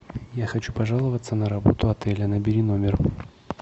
я хочу пожаловаться на работу отеля набери номер